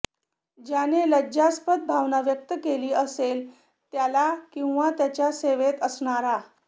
ज्याने लज्जास्पद भावना व्यक्त केली असेल त्याला किंवा त्याच्या सेवेत असणारा